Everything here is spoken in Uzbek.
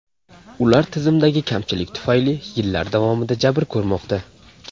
Ular tizimdagi kamchilik tufayli yillar davomida jabr ko‘rmoqda.